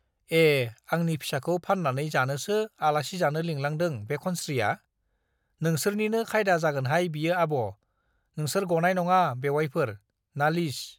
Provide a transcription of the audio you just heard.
ए आंनि फिसाखौ फान्नानै जानोसो आलासि जानो लिंलांदों बे खनस्रीया , नोंसोरनिनो खायदा जागोनहाय बियो आब' , नोंसोर गनाय नङा बेउवाइफोर , नालिस